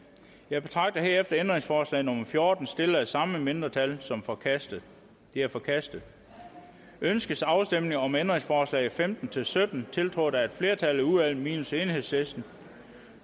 jeg betragter herefter ændringsforslag nummer fjorten stillet af samme mindretal som forkastet det er forkastet ønskes afstemning om ændringsforslag nummer femten til sytten tiltrådt af et flertal i udvalget minus enhedslisten